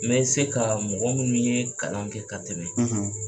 N se bɛ se ka mɔgɔ minnu ye kalan kɛ ka tɛmɛ